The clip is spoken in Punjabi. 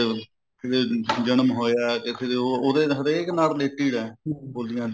ਦੇ ਜਨਮ ਹੋਇਆ ਉਹਦੇ ਹਰੇਕ ਨਾਲ related ਐ ਬੋਲੀਆਂ ਦੀ